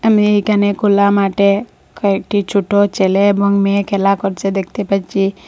আমি একানে খোলা মাঠে কয়েকটি ছোটো ছেলে এবং মেয়ে খেলা করছে দেখতে পাচ্ছি।